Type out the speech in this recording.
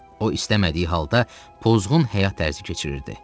O istəmədiyi halda pozğun həyat tərzi keçirirdi.